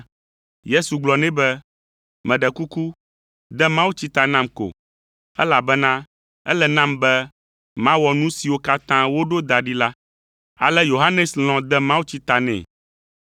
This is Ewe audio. Yesu gblɔ nɛ be, “Meɖe kuku, de mawutsi ta nam ko, elabena ele nam be mawɔ nu siwo katã woɖo da ɖi la.” Ale Yohanes lɔ̃ de mawutsia ta nɛ.